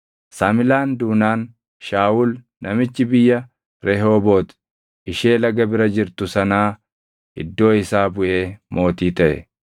Samlaan duunaan Shaawul namichi biyya Rehoobooti ishee laga bira jirtu sanaa iddoo isaa buʼee mootii taʼe.